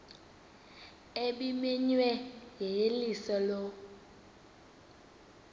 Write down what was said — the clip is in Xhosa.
ebimenyiwe yeyeliso lo